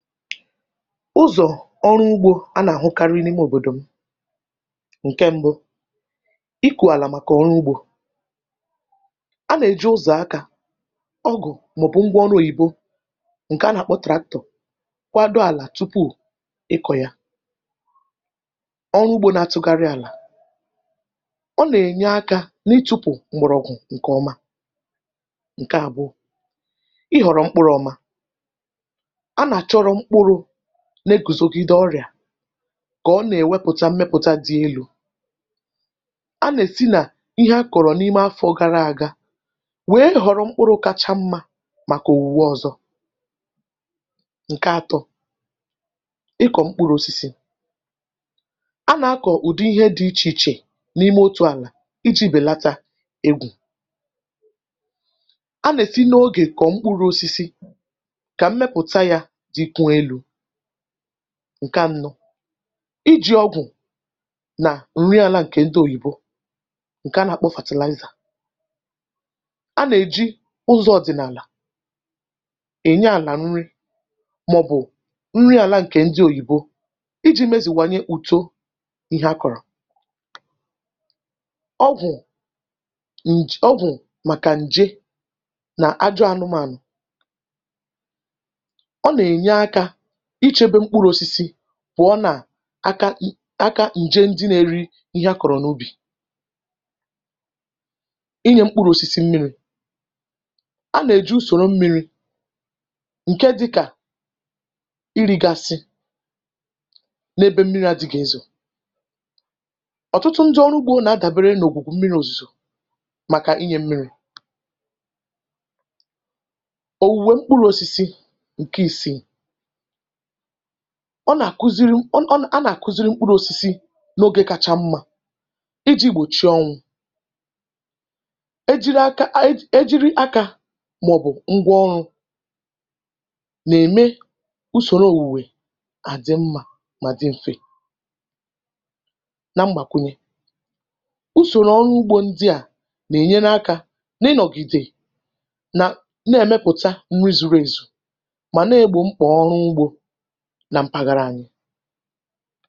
Ụzọ̀ ọrụ ugbȯ a nà-àhụkarị n’ime òbòdò m ǹke mbụ, ịkụ̇ àlà màkà ọrụ ugbȯ a nà-èji ụzọ̀ akȧ ọgụ̀ màọ̀bụ̀ ngwa ọrụ òyìbo ǹke a nà-àkpọ tractor kwado àlà tupu ịkọ̇ ya, ọrụ ugbȯ na-atụgharị àlà ọ nà-ènye akȧ n’ịtụ̇pụ̀ m̀gbọ̀rọ̀gwụ̀ ǹkè ọma. Ǹke àbụọ, ị họ̀rọ̀ mkpụrụ ọma a na-achọro mkpụrụ na-egùzogide ọrịà kà ọ nà-èwepùcha mmepùcha dị elu̇ anà-èsi nà ihe a kọ̀rọ̀ n’ime afọ gara àga wee họ̀rọ̀ mkpụrụ̇ kacha mmȧ màkà òwùwe ọ̀zọ. Ǹke atọ, ịkọ̀ mkpụrụ osisi a nà-akọ̀ ụ̀dị ihe dị ichè ichè n’ime otù àlà iji̇ bèlata egwù, a nà-èsi oge kọ mkpụrụ osisi ka mmepụta ya dịkwa élú. Ǹke anọ, iji̇ ọgwụ̀ nà ǹri àla ǹkè ndị òyìbo ǹke anà-àkpọ fertilizer, a nà-èji ụzọ̇ ọ̀dị̀nààlà ènye àlà nri màọbụ̀ nri àla ǹkè ndị òyìbo iji̇ mezìwànye uto ihe akụ̀rụ̀ akọ, ọgwụ̀ ǹj ọgwụ̀ màkà ǹje nà ajọ anụmȧnụ̀ ọ na-enye aka ichėbe mkpụrụ̇ osisi pụ̀ọ nà-aka aka ǹje ndị nȧ-ėri̇ ihe akọ̀rọ̀ n’ubì inyė mkpụrụ̇ osisi mmiri̇, a nà-èju ùsòro mmiri̇ ǹke dị̇kà irigasị n’ebe mmiri̇ adị̇gà ézò ọ̀tụtụ ndị ọrụ ugbȯ nà-adàbere n’ògwùgwù mmiri̇ òzùzò màkà inyė mmiri̇ òwùwè mkpụrụ̇ osisi ǹke ìsì, ọ nà-àkuziri m a nà-àkuziri mkpụrụ osisi n’ogė kacha mmȧ iji̇ gbòchi ọñwụ̇ e jiri akȧ e jiri aka màọ̀bụ̀ ngwa ọrụ̇ nà-ème usòrò òwùwè àdị mmȧ mà dị m̀fe. Na mgbàkwùnye, usòrò ọrụ ugbȯ ndị à nà-ènyere akȧ n’ịnọ̀gìdè nà na-èmepụ̀ta nri zùrù èzù ma na-egbo mkpa ọrụ ụgbọ nà mpàghàrà ànyị.